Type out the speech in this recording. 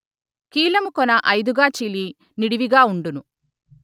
కీలము కొన ఐదుగా చీలి నిడివిగా ఉండును